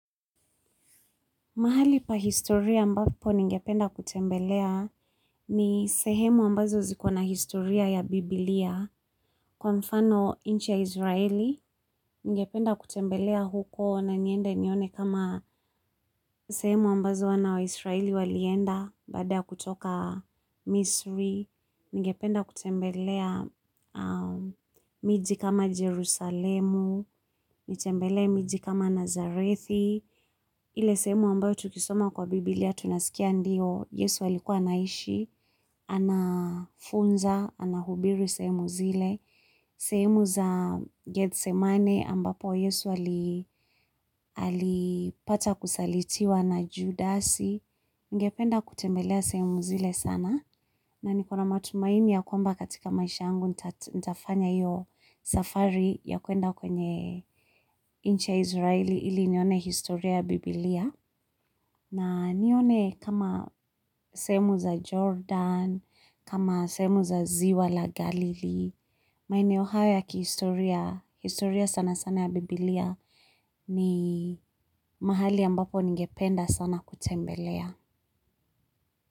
Mahali pa historia ambapo ningependa kutembelea ni sehemu ambazo ziko na historia ya Biblia. Kwa mfano nchi ya Israeli, ningependa kutembelea huko na niende nione kama sehemu ambazo wana wa Israeli walienda baada ya kutoka Misri. Ningependa kutembelea miji kama Jerusalemu, nitembelee miji kama Nazarethi. Ile sehemu ambayo tukisoma kwa Biblia tunasikia ndio, Yesu alikuwa anaishi, anafunza, anahubiri sehemu zile, sehemu za Gethsemane ambapo Yesu alipata kusalitiwa na Judasi, ningependa kutembelea sehemu zile sana. Na niko na matumaini ya kwamba katika maisha yangu nitafanya hiyo safari ya kuenda kwenye nchi ya israeli ili nione historia ya biblia. Na nione kama sehemu za Jordan, kama sehemu za ziwa la Galilee, maeneo haya ya kihistoria, historia sana sana ya biblia ni mahali ambapo ningependa sana kutembelea.